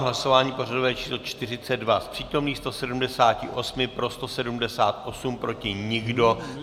V hlasování pořadové číslo 42 z přítomných 178 pro 178, proti nikdo.